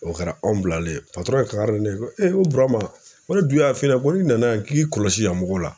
O kɛra anw bilalen ye kankari da ne ye ko ko Burama ko ne dun y'a f'i ɲɛna ko n'i nana yan k'i kɔlɔsi yan mɔgɔw la